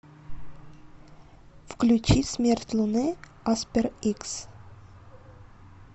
включи смерть луны аспер икс